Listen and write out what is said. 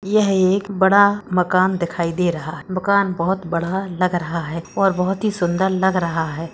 यह एक बड़ा मकान दिखाई दे रहा है। मकान बहुत बड़ा लग रहा है।